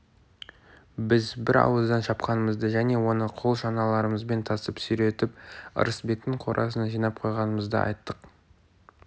біз бір ауыздан шапқанымызды және оны қол шаналарымызбен тасып сүйретіп ырысбектің қорасына жинап қойғанымызды айттық